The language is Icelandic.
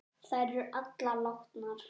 Þær eru allar látnar.